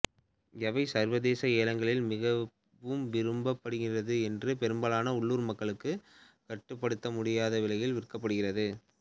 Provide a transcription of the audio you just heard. இவை சர்வதேச ஏலங்களில் மிகவும் விரும்பப்படுகின்றன இது பெரும்பாலான உள்ளூர் மக்களுக்கு கட்டுப்படுத்த முடியாத விலையில் விற்கப்படுகிறது